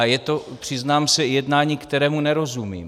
A je to, přiznám se, jednání, kterému nerozumím.